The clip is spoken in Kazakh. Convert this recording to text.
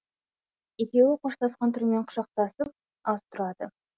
екеуі қоштасқан түрмен құшақтасып аз тұрады